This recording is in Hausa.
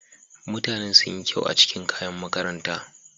Mutanen sun yi kyau a cikin kayan makaranta.